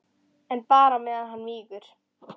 En bara á meðan hann mígur.